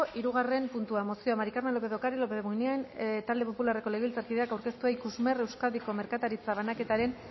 hirugarren puntua mozioa maría del carmen lópez de ocariz lópez de munain euskal talde popularreko legebiltzarkideak aurkeztua ikusmer euskadiko merkataritza banaketaren